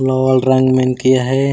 Novel रंग मेंन किया है।